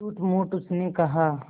झूठमूठ उसने कहा